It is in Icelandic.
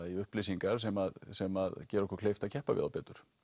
í upplýsingar sem sem gera okkur kleift að keppa við þá betur